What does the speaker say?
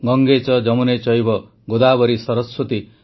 ଗଙ୍ଗେ ଚ ଯମୁନେ ଚୈବ ଗୋଦାବରୀ ସରସ୍ୱତୀ